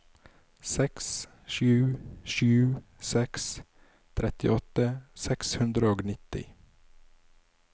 seks sju sju seks trettiåtte seks hundre og nitti